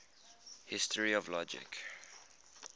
history of logic